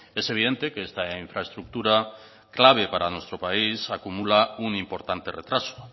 es evidente que esta infraestructura clave para nuestro país acumula un importante retraso